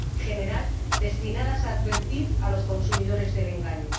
general destinadas a advertir a los consumidores del engaño.